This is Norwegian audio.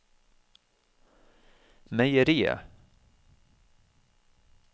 meieriet